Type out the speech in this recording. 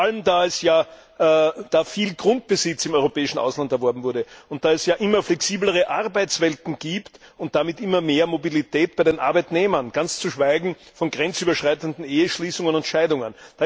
Vor allem, da viel Grundbesitz im europäischen Ausland erworben wurde, und da es ja immer flexiblere Arbeitswelten gibt und damit immer mehr Mobilität bei den Arbeitnehmern, ganz zu schweigen von grenzüberschreitenden Eheschließungen und Scheidungen.